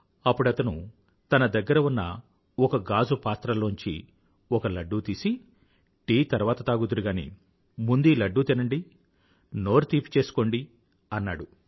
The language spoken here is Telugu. అప్పుడతను తన దగ్గర ఉన్న ఒక గాజు పాత్ర లోంచి ఒక లడ్డూ తీసి టీ తర్వాత తాగుదురు గానీ ముందీ లడ్డూ తినండి నోరు తీపి చేసుకోండి అన్నాడు